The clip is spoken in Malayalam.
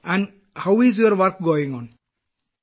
വിജയശാന്തി സർ എനിക്ക് സുഖമാണ്